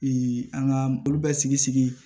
an ka olu bɛ sigi sigi